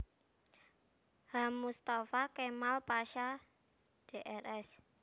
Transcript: H Mustafa Kamal Pasha Drs